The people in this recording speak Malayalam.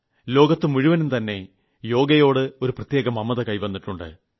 ലോകത്ത് മുഴുവനും തന്നെ യോഗയോട് ഒരു പ്രത്യേക മമത വന്നിട്ടുണ്ട്